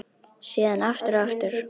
Síðan aftur og aftur.